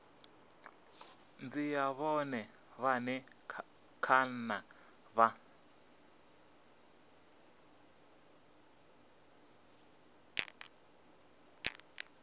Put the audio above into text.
dzhia vhone vhane kana vha